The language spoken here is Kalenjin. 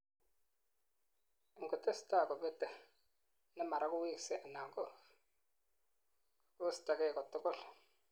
engotesetai kobetei, nemara koweksei anan kokestagei katugul